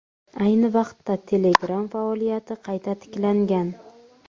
Ayni vaqtda Telegram faoliyati qayta tiklangan.